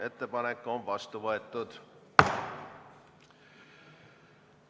Ettepanek on vastu võetud.